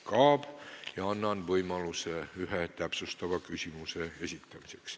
Annan iga teema arutelul võimaluse ühe täpsustava küsimuse esitamiseks.